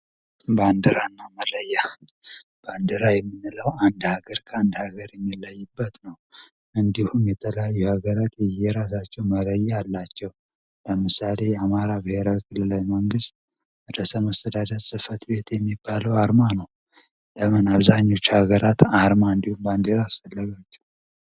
ባንድራ እና መለያ ባንድራ የሚንለው አንድ ሀገር ካ አንድ ሀገር የሚለይበት ነው እንዲሁም የተላዩ የሀገራት የየራሳቸው መለየ አላቸው ለምሳሌ አማራ ብሔራዊ ክልላዊ መንግሥት ረእስ መስተዳዳት ጽፈት ቤት የሚባለው አርማ ነው ።ለምን አብዛኞች ሀገራት አርማ እንዲሁም ባንድራ አስፈለጋቸው።